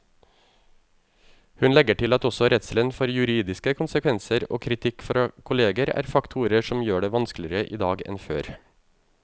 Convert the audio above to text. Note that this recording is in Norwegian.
Hun legger til at også redselen for juridiske konsekvenser og kritikk fra kolleger er faktorer som gjør det vanskeligere i dag enn før.